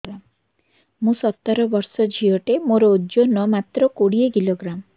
ମୁଁ ସତର ବର୍ଷ ଝିଅ ଟେ ମୋର ଓଜନ ମାତ୍ର କୋଡ଼ିଏ କିଲୋଗ୍ରାମ